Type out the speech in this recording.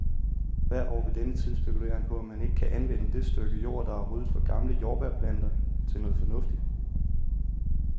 Hvert år ved denne tid spekulerer han på, om han ikke kan anvende det stykke jord, der er ryddet for gamle jordbærplanter, til noget fornuftigt.